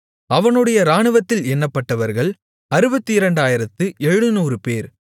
அவனுடைய இராணுவத்தில் எண்ணப்பட்டவர்கள் 62700 பேர்